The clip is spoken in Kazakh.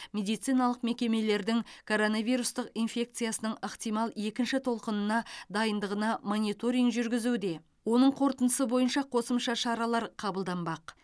медициналық мекемелердің коронавирустық инфекциясының ықтимал екінші толқынына дайындығына мониторинг жүргізуде оның қорытындысы бойынша қосымша шаралар қабылданбақ